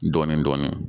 Dɔɔnin dɔɔnin